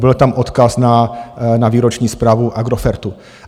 Byl tam odkaz na výroční zprávu Agrofertu.